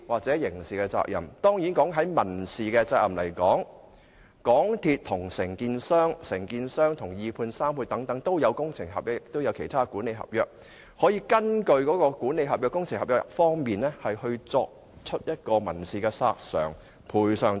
在民事責任方面，港鐵公司與承建商，以及承建商與二判或三判會有工程合約和其他管理合約，他們可以根據這些合約進行民事索償和要求賠償等。